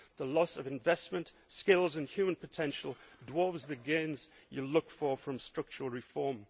The loss of investment, skills and human potential dwarves the gains you look for from structural reform.